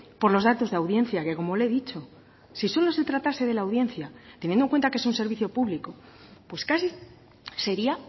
por los datos de audiencia que como le he dicho si solo se tratase de la audiencia teniendo en cuenta que es un servicio público pues casi sería